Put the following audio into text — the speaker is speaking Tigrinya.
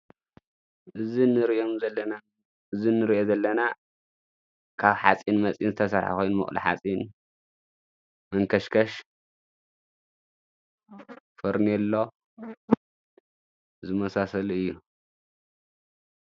እዚ ንርእዮ ዘለና ካብ ሓፂን መጺን ዝተሰራሐ ኾይኑ ምቕሊ ኃጺን መንከሽከሽ ፈርኔሎ ዝመሳሰሉ እዩ።